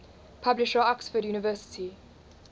publisher oxford university